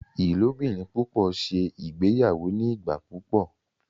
ilobirin pupọ ṣe ìgbéyàwó ní igbà púpọ